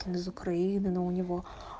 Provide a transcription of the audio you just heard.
он из украины но у него